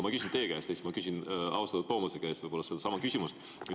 Ma küsin teie käest ja siis ma võib-olla küsin austatud Toomase käest sedasama küsimust.